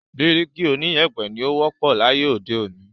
Bíríkì oníyèpè ni ó wọ́pọ̀ láyé òde òní.